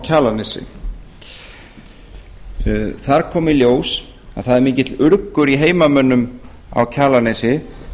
kjalarnesi þar kom í ljós að það er mikill urgur í heimamönnum á kjalarnesi